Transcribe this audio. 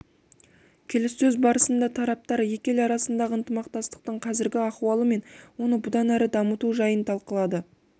келіссөз барысында тараптар екі ел арасындағы ынтымақтастықтың қазіргі ахуалы мен оны бұдан әрі дамыту жайын талқылады